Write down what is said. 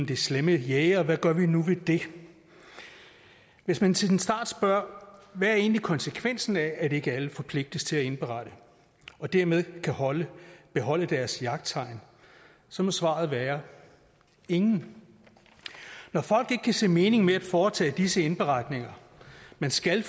de slemme jægere hvad gør vi nu ved det hvis man til en start spørger hvad er egentlig konsekvensen af at ikke alle forpligtes til at indberette og dermed kan beholde beholde deres jagttegn så må svaret være ingen når folk ikke kan se mening med at foretage disse indberetninger man skal